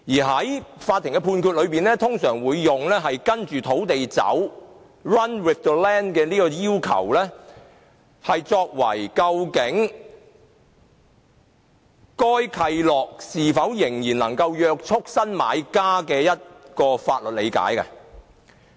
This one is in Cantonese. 在法院的判決中，通常會用"跟着土地走"的要求作為究竟該契諾是否仍能約束新買家的法律理解。